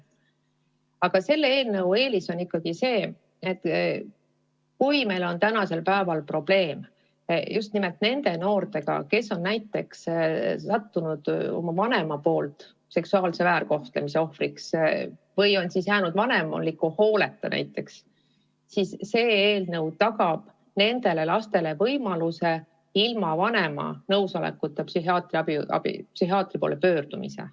Aga meie eelnõu eelis on see, et kui meil tänasel päeval on probleeme just nimelt nende noortega, keda näiteks vanem on seksuaalselt väärkohelnud või kes on jäänud vanemliku hooleta, siis see eelnõu tagab nendele lastele võimaluse ilma vanema nõusolekuta psühhiaatri poole pöörduda.